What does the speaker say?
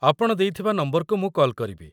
ଆପଣ ଦେଇଥିବା ନମ୍ବରକୁ ମୁଁ କଲ୍ କରିବି।